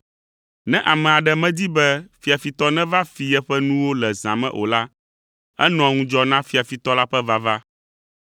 “Ne ame aɖe medi be fiafitɔ neva fi yeƒe nuwo le zã me o la, enɔa ŋudzɔ na fiafitɔ la ƒe vava.